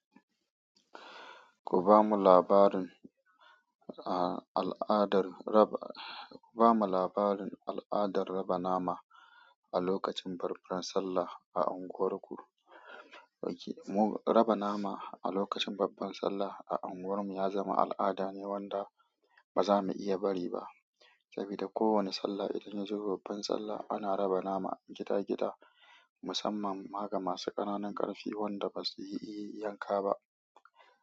Ku bamu labarin al'adar raba, ku bamu labarin al'adar raba nama a lokacin babbar Sallah a unguwarku. Raba nama a lokacin babbar Sallah a unguwarmu ya zama al'ada ne wanda ba za mu iya bari ba. Saboda kowane Sallah idan ya je babban Sallah ana raba nama gida gida musamman ma ga masu ƙananun ƙarfi wanda basu iya yanka ba.